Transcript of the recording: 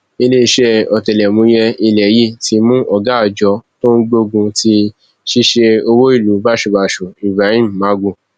iléeṣẹ ọtẹlẹmúyẹ ilẹ yìí ti mú ọgá àjọ tó ń gbógun ti ṣíṣe owó ìlú báṣubàṣu ibrahim magu